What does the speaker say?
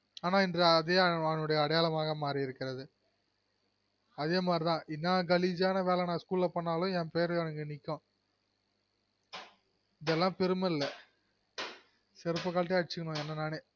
ஆனா இப்போ அதே அவரின் அடையாளமாக மாரி இருக்கிறது அதேமாரிதான் இன்னா கலிஜியான வேல நான் school ல பன்னாலும் என் பேரு அங்க நிக்கும் இதெல்லம் பெருமல்ல செருப கழட்டி அடிசிகனும் என்ன நானே